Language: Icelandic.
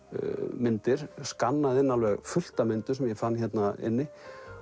myndir skannaði inn alveg fullt af myndum sem ég fann hérna inni